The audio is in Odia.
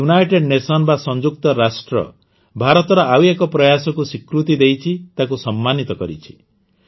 ଏବେ ୟୁନାଇଟେଡ଼ ନେସନ ବା ସଂଯୁକ୍ତ ରାଷ୍ଟ୍ର ଭାରତର ଆଉ ଏକ ପ୍ରୟାସକୁ ସ୍ୱୀକୃତି ଦେଇଛି ତାକୁ ସମ୍ମାନିତ କରିଛି